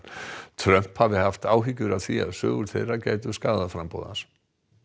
Trump hafi haft áhyggjur af því að sögur þeirra myndu skaða framboð hans